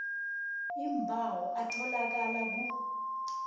iimbawo atholakala ku